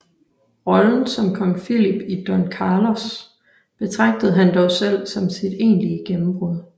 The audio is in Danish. Rollen som Kong Philip i Don Carlos betragtede han dog selv som sit egentlige gennembrud